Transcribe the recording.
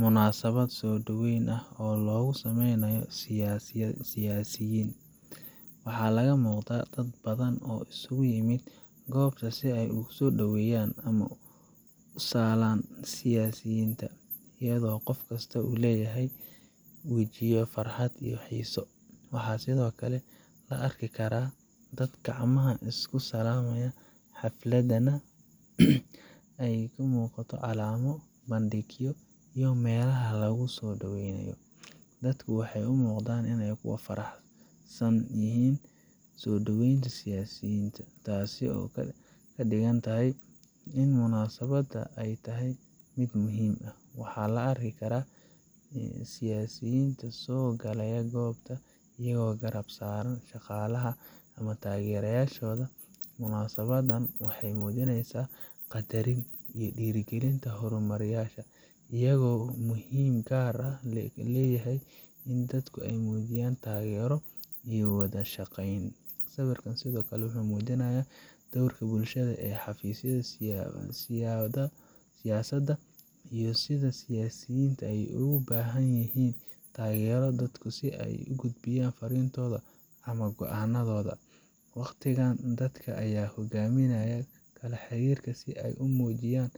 munaasabad soo dhaweyn ah oo loogu sameynayo siyaasiyiin. Waxaa laga muuqda dad badan oo isugu yimid goobta si ay u soo dhaweeyaan ama u salaan siyaasiyiinta, iyadoo qof kasta uu leeyahay wejiyo farxad iyo xiiso. Waxaa sidoo kale la arki karaa dad gacmaha isku salaamaya, xafladana ay ka muuqato calamo, bandhigyo ama meelaha lagu soo dhoweenayo. Dadku waxay u muuqdaan kuwo ku faraxsan yihiin soo dhoweynta siyaasiyiinta, taasoo ka dhigan in munaasabadda ay tahay mid muhiim ah. Waxaa la arki karaa siyaasiyiinta oo soo galay goobta, iyagoo garab saaran shaqaalaha ama taageerayaashooda. Munaasabaddan waxay muujineysaa qaddarinta iyo dhiirigelinta hogaamiyayaasha, iyagoo ay muhiimad gaar ah leedahay in dadku ay muujiyaan taageero iyo wadashaqeyn. Sawirkan sidoo kale wuxuu muujinayaa doorka bulshada ee xafiisyada siyaasadda, iyo sida siyaasiyiinta ay ugu baahan yihiin taageero dadka si ay u gudbiyaan farriintooda ama go’aanadooda. Waqtigan, dadka ayaa hogaamiyayaasha kala xiriirka si ay ugu muujiyaan